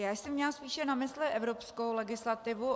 Já jsem měla spíše na mysli evropskou legislativu.